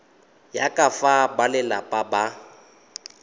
ya ka fa balelapa ba